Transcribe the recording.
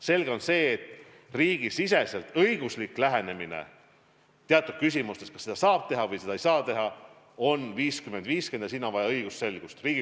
Selge on see, et riigisisene õiguslik lähenemine, kas seda saab teha või seda ei saa teha, on 50 : 50 ja selles asjas on vaja õigusselgust.